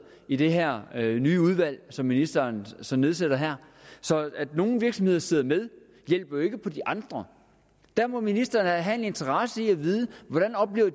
i det her nye udvalg som ministeren så nedsætter så at nogle virksomheder sidder med hjælper jo ikke på de andre der må ministeren da have en interesse i at vide hvordan